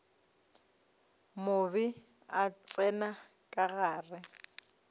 mobe a tsena ka gare